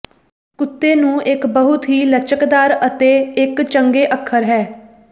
ਕੁੱਤੇ ਨੂੰ ਇੱਕ ਬਹੁਤ ਹੀ ਲਚਕਦਾਰ ਅਤੇ ਇੱਕ ਚੰਗੇ ਅੱਖਰ ਹੈ